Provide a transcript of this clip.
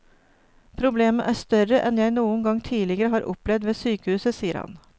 Problemet er større enn jeg noen gang tidligere har opplevd ved sykehuset, sier han.